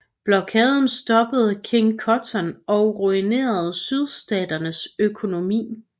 Blokaden stoppede King Cotton og ruinerede Sydstaternes økonomi